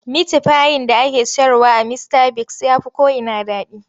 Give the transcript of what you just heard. Mitifayin da ake sayarwa a Mistabigs ya fi ko'ina daɗi.